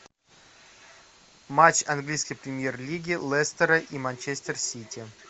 матч английской премьер лиги лестера и манчестер сити